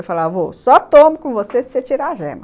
Eu falava, vô, só tomo com você se você tirar a gema.